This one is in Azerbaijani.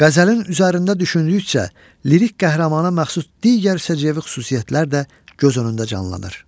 Qəzəlin üzərində düşündükcə, lirik qəhrəmana məxsus digər səciyyəvi xüsusiyyətlər də göz önündə canlanır.